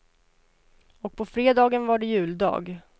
Och på fredagen var det juldag.